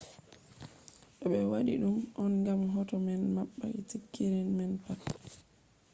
do be wadi dum on gam hoto man mabba sikirin man pat